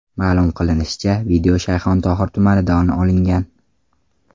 Ma’lum qilinishicha, video Shayxontohur tumanida olingan.